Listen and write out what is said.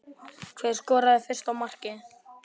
Hver skoraði fyrsta markið?